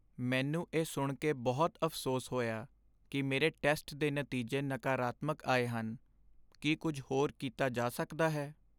ਮੈਨੂੰ ਇਹ ਸੁਣ ਕੇ ਬਹੁਤ ਅਫ਼ਸੋਸ ਹੋਇਆ ਕਿ ਮੇਰੇ ਟੈਸਟ ਦੇ ਨਤੀਜੇ ਨਕਾਰਾਤਮਕ ਆਏ ਹਨ। ਕੀ ਕੁੱਝ ਹੋਰ ਕੀਤਾ ਜਾ ਸਕਦਾ ਹੈ?